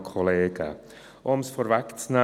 Um es vorwegzunehmen: